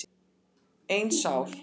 Ein sár.